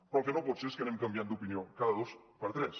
però el que no pot ser és que anem canviant d’opinió cada dos per tres